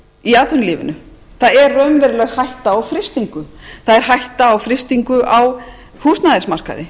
í atvinnulífinu það er raunveruleg hætta á frystingu það er hætta á frystingu á húsnæðismarkaði